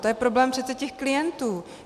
To je problém přece těch klientů!